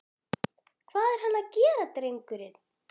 Hvað er hann að gera drengurinn?